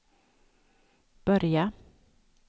börja